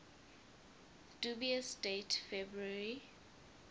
dubious date february